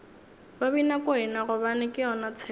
babinakwena gobane ke yona tshepo